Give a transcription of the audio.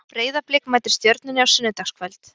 Breiðablik mætir Stjörnunni á sunnudagskvöld.